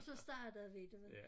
Og så startede vi du ved